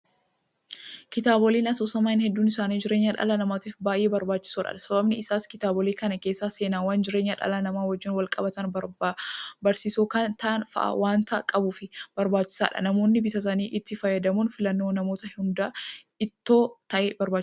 Kitaabileen asoosamaa hedduun isaanii jireenya dhala namaatiif baay'ee barbaachisoodha. Sababiin isaas kitaabilee kana keessa seenaawwan jireenya dhala namaa wajjin walqabatan barsiisoo kan ta'an fa'aa waanta qabuuf barbaachisaadha. Namoonnis bitatanii itti fayyadamuun filannoo namoota hundaa itoo ta'ee barbaachisaadha.